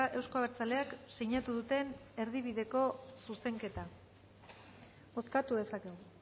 euzko abertzaleak sinatu duten erdibideko zuzenketa bozkatu dezakegu